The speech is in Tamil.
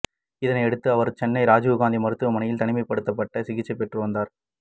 இதனை அடுத்து அவர் சென்னை ராஜீவ்காந்தி மருத்துவமனையில் தனிமைப்படுத்தப்பட்டு சிகிச்சை பெற்றுவந்தார்